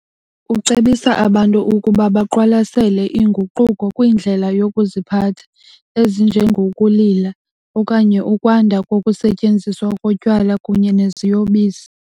Ucebisa abantu ukuba baqwalasele inguquko kwindlela yokuziphatha, ezinjengokulila okanye ukwanda kokusetyenziswa kotywala kunye neziyobisi.